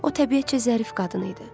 O təbiətcə zərif qadın idi.